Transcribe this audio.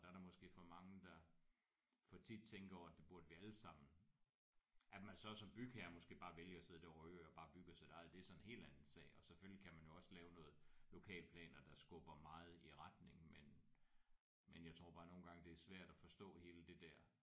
Der er der måske for mange der for tit tænker over at det burde vi alle sammen. At man så som bygherre måske bare vælger at sidde det overhørig og bare bygger sit eget det er så en helt anden sag og selvfølgelig kan man jo også lave nogle lokalplaner der skubber meget i retning men men jeg tror bare nogle gange det er svært at forstå hele det der